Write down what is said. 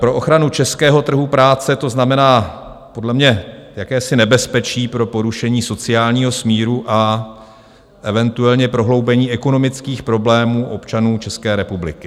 Pro ochranu českého trhu práce to znamená podle mě jakési nebezpečí pro porušení sociálního smíru a eventuálně prohloubení ekonomických problémů občanů České republiky.